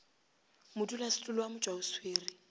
modulasetulo wa motšwa o swere